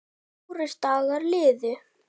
Fjórir dagar liðu.